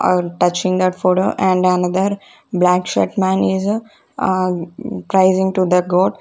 uh touching that food and another black shirt man is uh to the god.